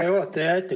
Hea juhataja!